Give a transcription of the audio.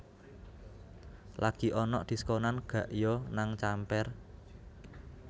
Lagi onok diskonan gak yo nang Camper